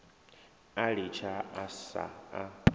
a litsha a sa a